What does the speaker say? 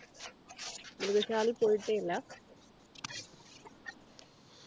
മൃഗശാല പോയിട്ടേ ഇല്ല